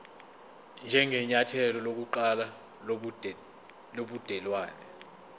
njengenyathelo lokuqala lobudelwane